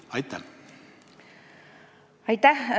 Aitäh!